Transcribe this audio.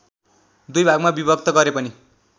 दुई भागमा बिभक्त गरे पनि